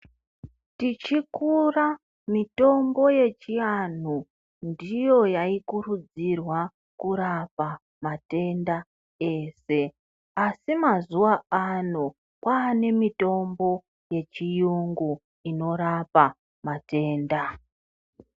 Tichikura mitombo yechi anhu ndiyo yai kurudzirwa kurapa matenda ese asi mazuva ano kwane mitombo ye chiyungu inorapa matenda.